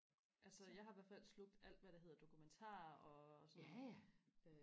altså jeg har i hvert fald slugt alt hvad der hedder dokumentarer og sådan noget